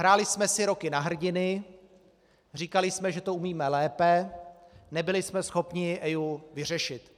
Hráli jsme si roky na hrdiny, říkali jsme, že to umíme lépe, nebyli jsme schopni EIA vyřešit.